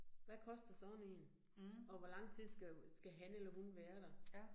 Hvad koster sådan én, og hvor lang tid skal skal han eller hun være der